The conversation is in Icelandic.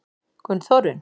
Gunnþórunn